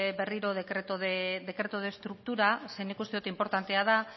berriro decreto de estructura zeren nik uste dut inportantea zen